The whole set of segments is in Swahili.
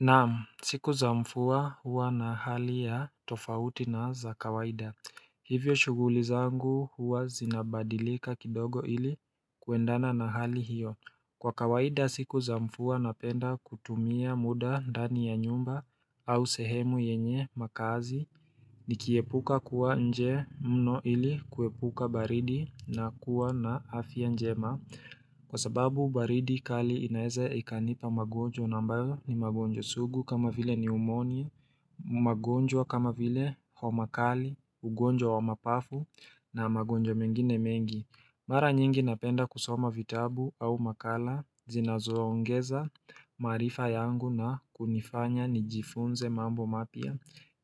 Naam! Siku za mvua huwa na hali ya tofauti na za kawaida. Hivyo shuguli zangu huwa zinabadilika kidogo ili kuendana na hali hiyo Kwa kawaida siku zamvua napenda kutumia muda ndani ya nyumba au sehemu yenye makazi Nikiepuka kuwa nje mno ili kuepuka baridi na kuwa na afya njema Kwa sababu baridi kali inaeza ikanipa magonjwa na ambayo ni magonjwa sugu kama vile ni umoni, magonjwa kama vile homakali, ugonjwa wa mapafu na magonjwa mengine mengi Mara nyingi napenda kusoma vitabu au makala zinazoongeza maarifa yangu na kunifanya nijifunze mambo mapya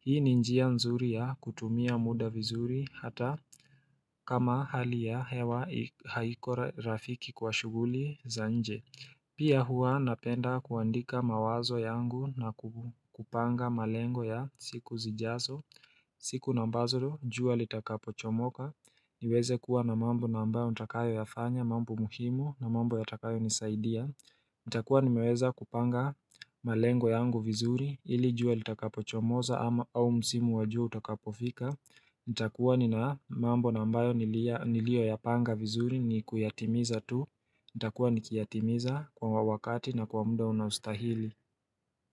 Hii ni njia nzuri ya kutumia muda vizuri hata kama hali ya hewa haiko rafiki kwa shuguli za nje Pia huwa napenda kuandika mawazo yangu na kupanga malengo ya siku zijazo siku na ambazo jua litaka pochomoka niweze kuwa na mambo na ambayo nitakayo ya fanya, mambo muhimu na mambo yatakayo nisaidia itakuwa nimeweza kupanga malengo yangu vizuri ilijua litakapo chomoza au msimu wajua utakapofika nitakuwa nina mambo na ambayo niliyo ya panga vizuri ni kuyatimiza tu itakuwa nikiyatimiza kwa wakati na kwa muda unaostahili.